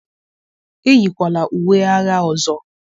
eyikwala uwe agha ọzọ!